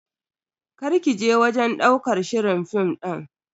Karki je wajen ɗaukar shirin film din.